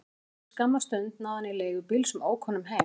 Eftir skamma stund náði hann í leigubíl sem ók honum heim.